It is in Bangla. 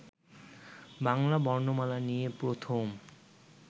বাংলা বর্ণমালা নিয়ে প্রথম